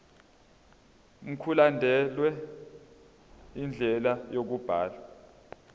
mkulandelwe indlela yokubhalwa